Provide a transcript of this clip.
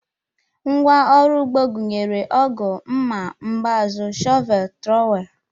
Ngwa ọrụ ugbo gụnyere ọgụ, mma, mbazụ, shọvel, trọwel